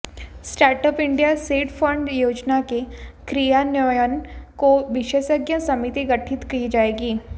startup India seed fund योजना के क्रियान्वयन को विशेषज्ञ समिति गठित की जाएगी